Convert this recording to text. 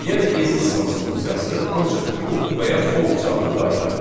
Yəni is instance funksiyası ancaq true və ya false cavabını qaytarır.